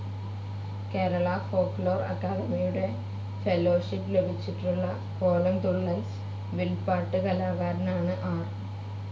Kerala folklore അക്കാദമിയുടെ fellowship ലഭിച്ചിട്ടുള്ള കോലംതുള്ളൽ, വിൽപ്പാട്ട് കലാകാരനാണ് ആർ.